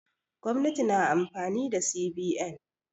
Gwamnati na amfani da CBN.